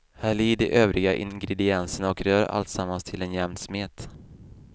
Häll i de övriga ingredienserna och rör alltsammans till en jämn smet.